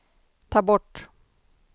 ta bort